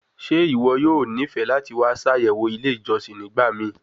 Ṣe iwọ yoo nifẹ lati wa ṣayẹwo ile ijọsin nigbamii